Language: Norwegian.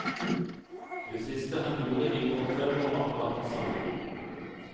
Det siste han gjorde i går kveld var akkurat det samme.